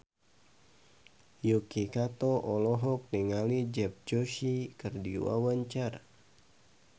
Yuki Kato olohok ningali Dev Joshi keur diwawancara